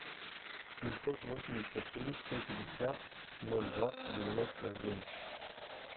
семьсот восемьдесят три сто пятьдесят ноль двадцать девяносто один